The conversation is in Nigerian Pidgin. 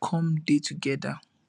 come dey togeda